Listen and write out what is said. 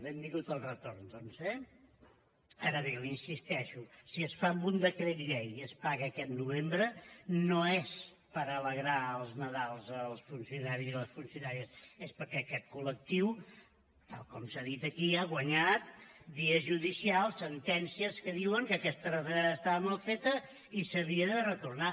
benvingut el retorn doncs eh ara bé l’hi insisteixo si es fa amb un decret llei i es paga aquest novembre no és per alegrar el nadal als funcionaris i a les funcionàries és perquè aquest col·lectiu tal com s’ha dit aquí ha guanyat via judicial sentències que diuen que aquesta retallada estava mal feta i s’havia de retornar